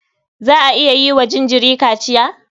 Za a iya yi wa jinjiri kaciya?